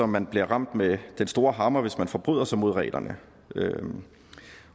man bliver ramt med den store hammer hvis man forbryder sig mod reglerne